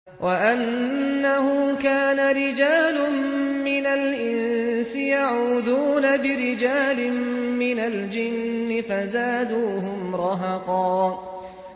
وَأَنَّهُ كَانَ رِجَالٌ مِّنَ الْإِنسِ يَعُوذُونَ بِرِجَالٍ مِّنَ الْجِنِّ فَزَادُوهُمْ رَهَقًا